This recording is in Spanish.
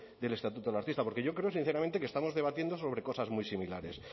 del estatuto del artista porque yo creo sinceramente que estamos debatiendo sobre cosas muy similares